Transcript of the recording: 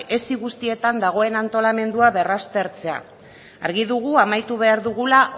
esi guztietan dagoen antolamendua berraztertzea argi dugu amaitu behar dugula